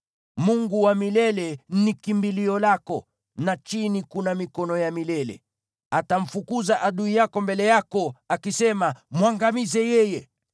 Mungu wa milele ni kimbilio lako, na chini kuna mikono ya milele. Atamfukuza adui yako mbele yako, akisema, ‘Mwangamize yeye!’